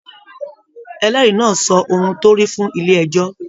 Ẹlẹri náà sọ ohùn torí fún ilé ẹjọ.